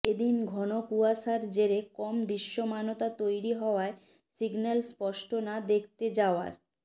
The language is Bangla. এদিন ঘন কুয়াশার জেরে কম দৃশ্যমানতা তৈরি হওয়ায় সিগন্যাল স্পষ্ট না দেখতে যাওয়ার